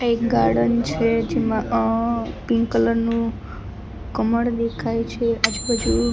એક ગાર્ડન છે જેમા અ પિંક કલર નુ કમળ દેખાય છે આજુ-બાજુ --""